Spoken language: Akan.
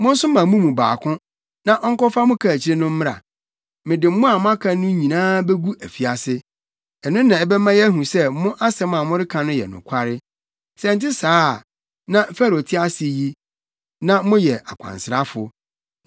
Monsoma mo mu baako, na ɔnkɔfa mo kaakyiri no mmra. Mede mo a moaka no nyinaa begu afiase. Ɛno na ɛbɛma yɛahu sɛ mo asɛm a moreka no yɛ nokware. Sɛ ɛnte saa a na Farao te ase yi, na moyɛ akwansrafo!”